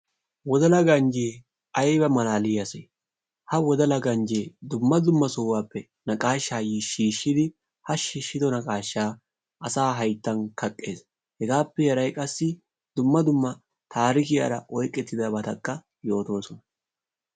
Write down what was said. wodala ganjjee ayba malaliyaa ase! ha wodala ganjjee dumma dumma sohuwappe naqaashshaa shiishshidi, ha shiishshido naqashshaaka asaa hayttan kaqqees. hegaappe haray qassi dumma dumma taarikiyaara oyqettidabatakka yootoosona.